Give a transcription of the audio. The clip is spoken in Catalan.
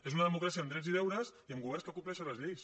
és una democràcia amb drets i deures i amb governs que compleixen les lleis